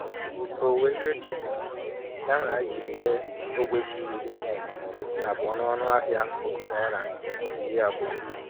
Owuwe ihe ji dị mma, ya mere anyị jiri ree ogbe ji iri abụọ n'ọnụ ahịa puku naịra iri abụọ.